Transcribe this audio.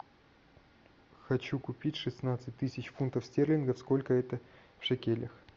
хочу купить шестнадцать тысяч фунтов стерлингов сколько это в шекелях